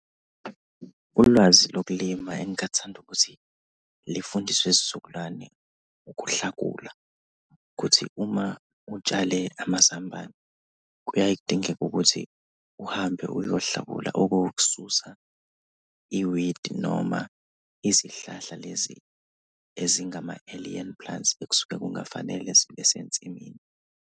Ulwazi lokulima engingathanda ukuthi lifundiswe isizukulwane, ukuhlakula, kuthi uma utshale amazambane kuyaye kudingeke ukuthi uhambe uyohlakula okuwukususa i-weed noma izihlahla lezi ezingama-alien plants ekusuke kungafanele zibe sensimini.